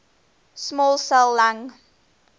small cell lung